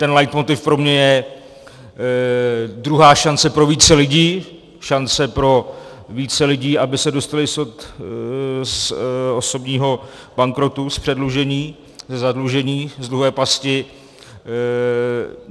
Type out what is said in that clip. Ten leitmotiv pro mě je druhá šance pro více lidí, šance pro více lidí, aby se dostali z osobního bankrotu, z předlužení, ze zadlužení, z dluhové pasti.